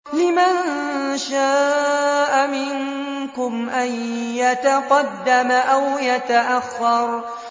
لِمَن شَاءَ مِنكُمْ أَن يَتَقَدَّمَ أَوْ يَتَأَخَّرَ